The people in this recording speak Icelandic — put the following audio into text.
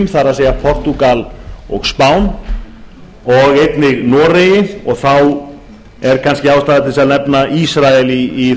það er portúgal og spáni einnig er ástæða til að nefna ísrael í